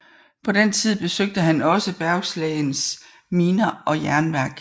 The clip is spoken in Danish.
På den tid besøgte han også Bergslagens miner og jernværk